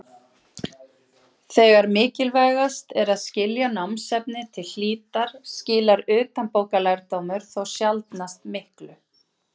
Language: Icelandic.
Þegar mikilvægast er að skilja námsefnið til hlítar skilar utanbókarlærdómur þó sjaldnast miklu.